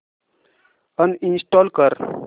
uninstall कर